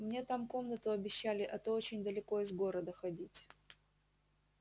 мне там комнату обещали а то очень далеко из города ходить